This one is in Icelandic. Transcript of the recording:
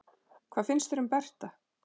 Hvað finnst þér um Berta?